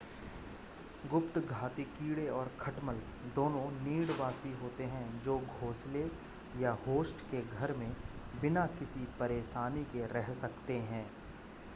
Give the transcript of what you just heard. गुप्तघाती कीड़े और खटमल दोनों नीडवासी होते हैं जो घोसले या होस्ट के घर में बिना किसी परेशानी के रह सकते हैं